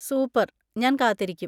Super‍, ഞാൻ കാത്തിരിക്കും.